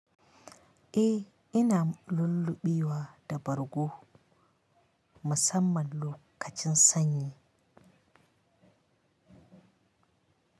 Eh ina lullubewa da bargo musamman lokacin sanyi.